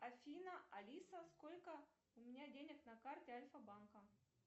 афина алиса сколько у меня денег на карте альфа банка